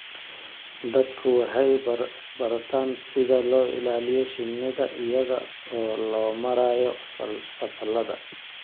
Dadku waxay bartaan sida loo ilaaliyo shinida iyada oo loo marayo fasalada.